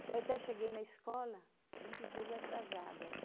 Então, eu até cheguei na escola vinte dias atrasada, né?